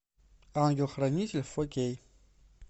ангел хранитель фо кей